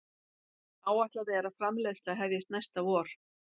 Áætlað er framleiðsla hefjist næsta vor